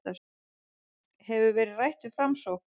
Hefur verið rætt við Framsókn